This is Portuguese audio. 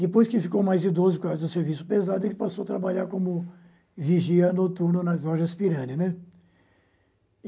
Depois que ficou mais idoso por causa do serviço pesado, ele passou a trabalhar como vigia noturno nas lojas pirani, né.